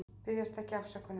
Biðjast ekki afsökunar